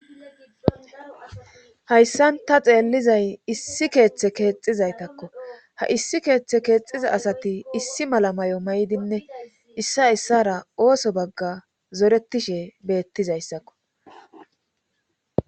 hayssan ta xeellizay issi keeththe keexizaytakko ha issi keeththe keexiza asati issi mala may7o may7dinne issa issara ooso bagga zoretishe beettizayssakko